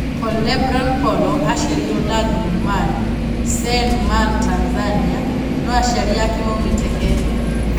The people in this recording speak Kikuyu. Paulo Lebron Polo aaciarĩirwo Lagnu-Marn, Seine-Marne Tanzania, no aciari ake maũmĩte Kenya.